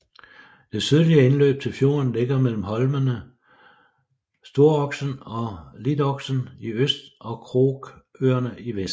Det sydlige indløb til fjorden ligger mellem holmene Storoksen og Litloksen i øst og Krokøerne i vest